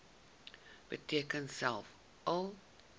beteken selfs al